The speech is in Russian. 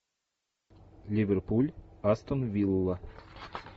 ливерпуль астон вилла